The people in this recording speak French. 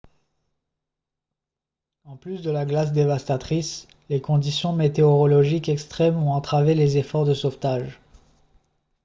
en plus de la glace dévastatrice les conditions météorologiques extrêmes ont entravé les efforts de sauvetage